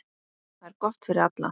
Það er gott fyrir alla.